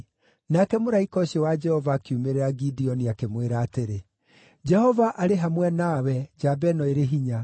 Nake mũraika ũcio wa Jehova akiumĩrĩra Gideoni, akĩmwĩra atĩrĩ, “Jehova arĩ hamwe nawe, njamba ĩno ĩrĩ hinya.”